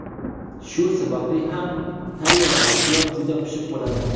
Shu sababli ham tayyor mahsulot juda pishiq bo‘ladi.